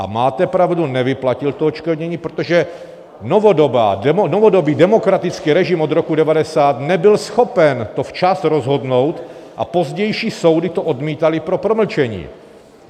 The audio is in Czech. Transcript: A máte pravdu, nevyplatil to odškodnění, protože novodobý demokratický režim od roku 1990 nebyl schopen to včas rozhodnout, a pozdější soudy to odmítaly pro promlčení.